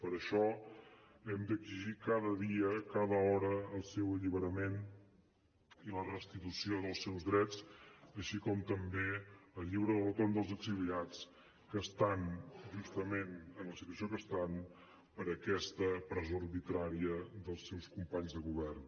per això hem d’exigir cada dia cada hora el seu alliberament i la restitució dels seus drets així com també el lliure retorn dels exiliats que estan justament en la situació que estan per aquesta presó arbitrària dels seus companys de govern